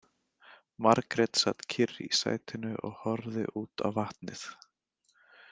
Margrét sat kyrr í sætinu og horfði út á vatnið.